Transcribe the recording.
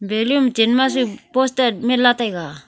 balum chen ma su poster man la taiga.